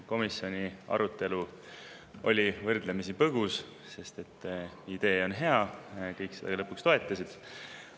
Komisjoni arutelu oli võrdlemisi põgus, sest idee on hea ja kõik seda lõpuks toetasid.